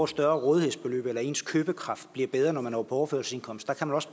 større rådighedsbeløb eller at ens købekraft bliver bedre når man er på overførselsindkomst der kan også